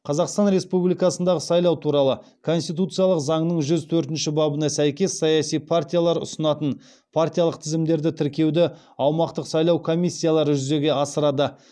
қазақстан республикасындағы сайлау туралы конституциялық заңның жүз төртінші бабына сәйкес саяси партиялар ұсынатын партиялық тізімдерді тіркеуді аумақтық сайлау комиссиялары жүзеге асырады